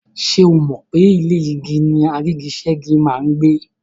Ṣé o mọ̀ pe inú ilé igi ni àrígiṣẹ́gi máa n gbé?